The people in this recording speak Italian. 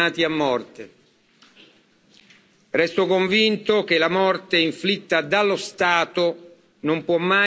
Resto convinto che la morte inflitta dallo Stato non può mai costituire una vera giustizia.